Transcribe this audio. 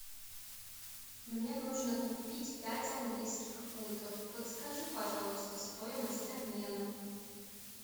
мне нужно купить пять английских фунтов подскажи пожалуйста стоимость обмена